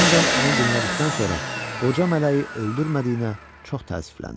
Hendon onu dinlədikdən sonra qoca mələyi öldürmədiyinə çox təəssüfləndi.